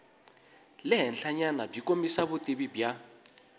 le henhlanyanabyi kombisa vutivi bya